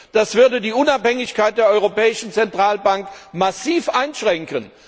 Das würde die Unabhängigkeit der Europäischen Zentralbank massiv einschränken.